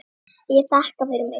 Ég þakka fyrir mig.